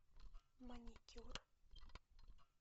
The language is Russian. маникюр